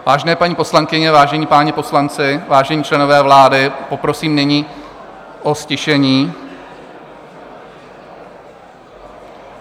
Vážené paní poslankyně, vážení páni poslanci, vážení členové vlády, poprosím nyní o ztišení.